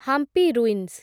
Hampi ruins